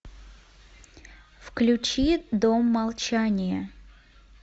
включи дом молчания